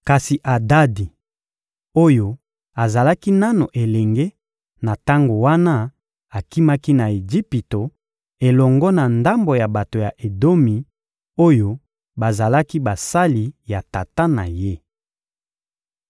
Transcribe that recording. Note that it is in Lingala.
Kasi Adadi oyo azalaki nanu elenge na tango wana akimaki na Ejipito elongo na ndambo ya bato ya Edomi oyo bazalaki basali ya tata na ye.